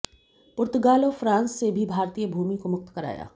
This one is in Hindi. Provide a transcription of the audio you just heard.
पुर्तगाल और फ्रांस से भी भारतीय भूमि को मुक्त कराया